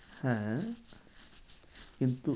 হ্যাঁ কিন্তু